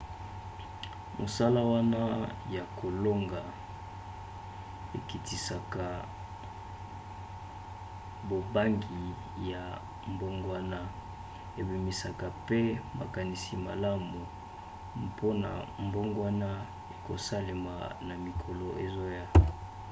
masolo wana ya kolonga ekitisaka bobangi ya mbongwana ebimisaka mpe makanisi malamu mpona mbongwana ekosalema na mikolo ezoya